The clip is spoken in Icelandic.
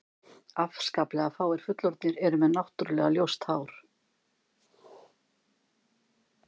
Afskaplega fáir fullorðnir eru með náttúrulega ljóst hár.